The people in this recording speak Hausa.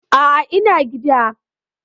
A'a, ina gida.